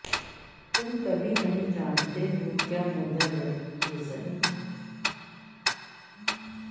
تم کبھی نہیں جانتے ہو کیا مردہ لڑکی کے ذہن